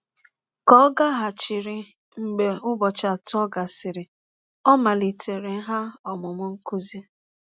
Ka ọ gaghachiri mgbe ụbọchị atọ gasịrị, ọ maliteere ha ọmụmụ nkụzi.